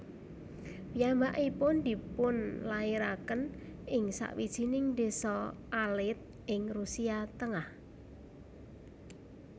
Piyambakipun dipunlairaken ing sawijining désa alit ing Rusia tengah